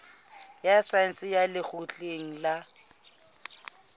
ya saense ya lekgotleng la